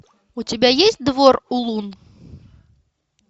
у тебя есть двор улун